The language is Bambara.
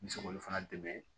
N bɛ se k'olu fana dɛmɛ